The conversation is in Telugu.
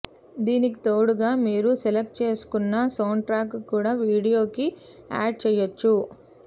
దీనికి తోడుగా మీరు సెలెక్ట్ చేసుకున్నా సౌండ్ట్రాక్ కూడా వీడియొకి యాడ్ చెయ్యొచ్చు